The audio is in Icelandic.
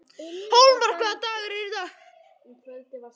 Hólmar, hvaða dagur er í dag?